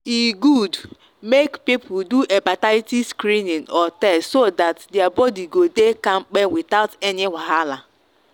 e good make people do hepatitis screening or test so that their body go dey kampe without any wahala.